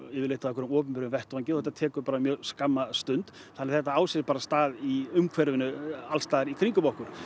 yfirleitt á einhverjum opinberum vettvangi og þetta tekur bara mjög skamma stund þannig að þetta á sér stað í umhverfinu alls staðar í kringum okkur